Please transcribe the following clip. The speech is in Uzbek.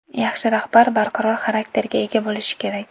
Yaxshi rahbar barqaror xarakterga ega bo‘lishi kerak.